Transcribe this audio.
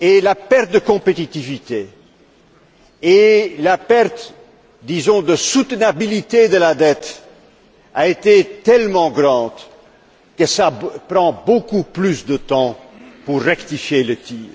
La perte de compétitivité, la perte de soutenabilité de la dette, a été tellement grande que cela prend beaucoup plus de temps pour rectifier le tir.